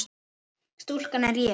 Stúlkan er ég.